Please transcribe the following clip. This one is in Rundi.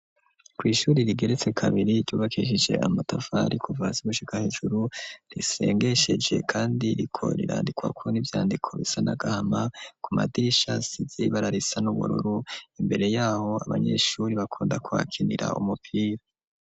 Kw' ishuri rigeretse kabiri ryubakishije amatafari kuva hasi gushika hejuru risengesheje kandi riko rirandikwa ku n'ivyandiko bisana gahama ku madirisha size bara risa n'ubururu imbere yaho abanyeshuri bakunda kwakinira umupira.